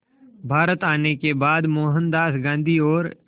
भारत आने के बाद मोहनदास गांधी और